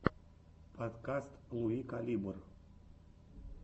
подкаст луи калибр